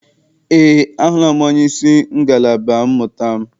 Eé, ahụla m onyeisi ngalaba mmụta m.